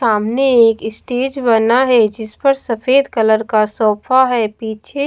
सामने एक स्टेज बना है जिस पर सफेद कलर का सोफा है पीछे--